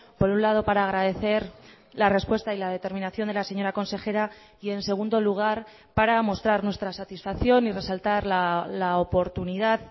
por un lado para agradecer la respuesta y la determinación de la señora consejera y en segundo lugar para mostrar nuestra satisfacción y resaltar la oportunidad